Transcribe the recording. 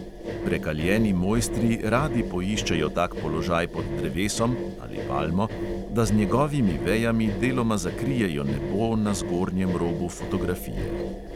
Prekaljeni mojstri radi poiščejo tak položaj pod drevesom (ali palmo), da z njegovimi vejami deloma zakrijejo nebo na zgornjem robu fotografije.